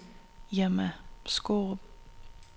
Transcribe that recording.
Irma Skaarup